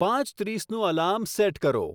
પાંચ ત્રીસનું alarm set કરો